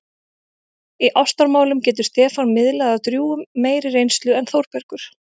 Í ástamálum getur Stefán miðlað af drjúgum meiri reynslu en Þórbergur.